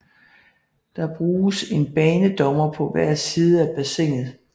Der bruges en banedommer på hver side af bassinet